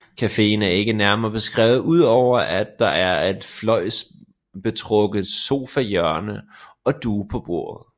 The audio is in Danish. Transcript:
Cafeen er ikke nærmere beskrevet udover at der er et fløjlsbetrukket sofahjørne og duge på bordet